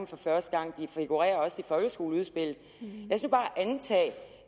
for første gang de figurerer også i folkeskoleudspillet og